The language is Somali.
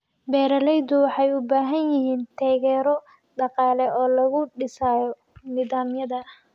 Beeraleydu waxay u baahan yihiin taageero dhaqaale oo lagu dhisayo nidaamyada.